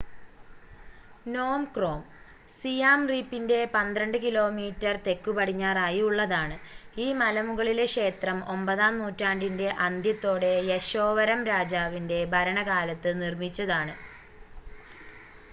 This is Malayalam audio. നോം ക്രോം സിയാം റീപ്പിന്‍റെ 12 കി.മീ. തെക്കുപടിഞ്ഞാറായി ഉള്ളതാണ്‌. ഈ മലമുകളീലെ ക്ഷേത്രം 9 ആം നൂറ്റാണ്ടിന്‍റെ അന്ത്യത്തോടെ യശോവരം രാജാവിന്‍റെ ഭരണകാലത്ത് നിര്‍മ്മിച്ചതാണ്‌